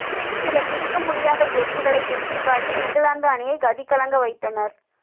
சில பிடிக்க முடியாத கேட்சுகளை பிடித்து காட்டி இங்கிலாந்து அணியை கதி கலங்க வைத்தனர்